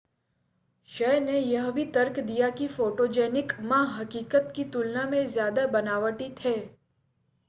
शय ने यह भी तर्क दिया कि फ़ोटोजेनिक मा हक़ीक़त की तुलना में ज़्यादा बनावटी थे